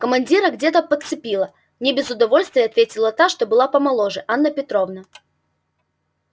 командира где то подцепила не без удовольствия ответила та что была помоложе анна петровна